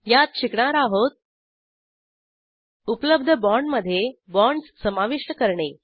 यात शिकणार आहोत उपलब्ध बाँडमधे बाँडस समाविष्ट करणे